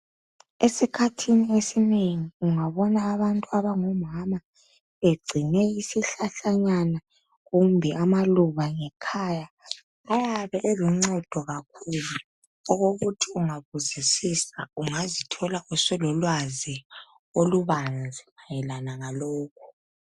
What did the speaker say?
Esikhathini esinengi ungabona abantu abangomama egcine isihlahlanyana kumbe amaluba ngekhaya ayabe eloncedo kakhulu okokuthi ungabuzisisa ungazithola usulolwazi olubanzi mayelana ngalokho